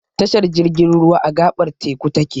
Tashar jirgin ruwa, a gaɓar teku ta ke.